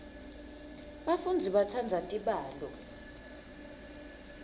bafundzi batsandza tibalo